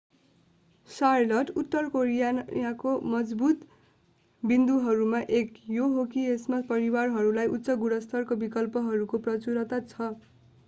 Charlotte उत्तर क्यारोलिनाको मजबुत बिन्दुहरूमा एक यो हो कि यसमा परिवारहरूका लागि उच्च-गुणस्तरका विकल्पहरूको प्रचुरता छ